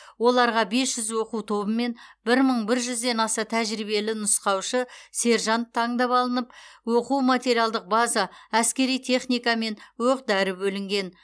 оларға бес жүз оқу тобы мен бір мың бір жүзден аса тәжірибелі нұсқаушы сержант таңдап алынып оқу материалдық база әскери техника мен оқ дәрі бөлінген